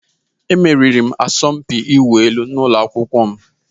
Emeriri m asọmpi ịwụ elu n'ụlọ akwụkwọ m.